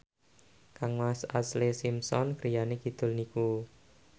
kangmas Ashlee Simpson griyane kidul niku